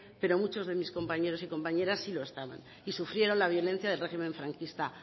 pero muchos de mis compañeros y compañeras sí lo estaban y sufrieron la violencia del régimen franquista